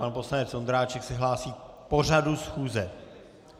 Pan poslanec Vondráček se hlásí k pořadu schůze.